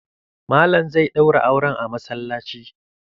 Mallam zai ɗauran auran a masallaci.